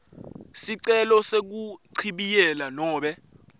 sicelo sekuchibiyela nobe